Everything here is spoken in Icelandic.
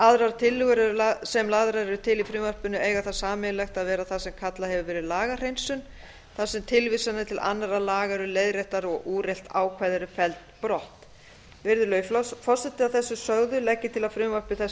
aðrar tillögur sem lagðar eru til í frumvarpinu eiga það sameiginlegt að vera það sem kallað hefur verið lagahreinsun þar sem tilvísanir til annarra laga eru leiðréttar og úrelt ákvæði eru felld brott virðulegi forseti að þessu sögðu legg ég til að frumvarpi þessu